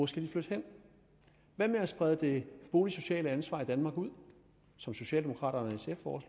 skal flytte hen hvad med at sprede det boligsociale ansvar i danmark ud som socialdemokraterne og